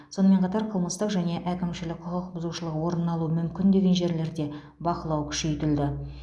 сонымен қатар қылмыстық және әкімшілік құқық бұзушылық орын алуы мүмкін деген жерлерде бақылау күшейтілді